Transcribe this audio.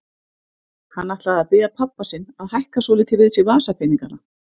Hann ætlaði að biðja pabba sinn að hækka svolítið við sig vasapeningana.